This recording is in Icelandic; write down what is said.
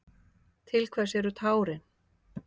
Til hvers eru tárin?